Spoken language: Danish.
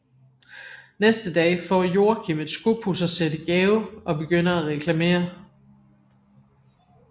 Næste dag får Joakim et skopudsersæt i gave og begynder at reklamere